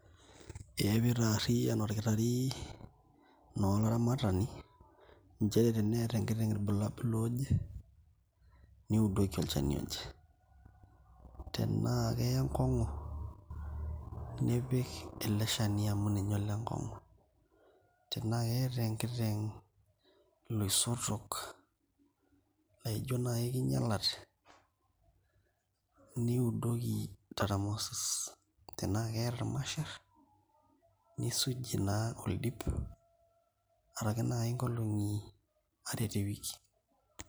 Ee pee itaariyian naa olkotari olaramatani nchere teneeta enkiteng ilbulabol looje. niudoki olchani oje. tenaa Kenya enkongu, nipike ele Shani amu ninye ole nkong'u. tenaa keeta enkiteng ilosotok, laijo naaji king'ialate, niudoki taramasi,.tenaa keeta ilmasher. nisujie naa oldip, araki naaji inkolong'i are te wiki.